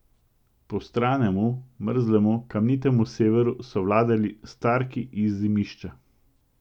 Prostranemu, mrzlemu, kamnitemu Severu so vladali Starki iz Zimišča.